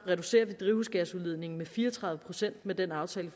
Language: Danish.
reducerer vi drivhusgasudledningen med fire og tredive procent med den aftale